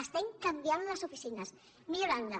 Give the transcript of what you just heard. estem canviant les oficines mi·llorant·les